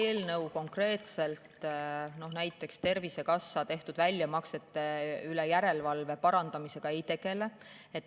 See eelnõu konkreetselt näiteks Tervisekassa väljamaksete üle tehtava järelevalve parandamisega ei tegele.